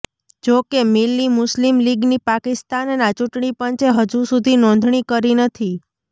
જોકે મિલ્લિ મુસ્લિમ લીગની પાકિસ્તાનના ચૂંટણી પંચે હજુ સુધી નોંધણી કરી નથી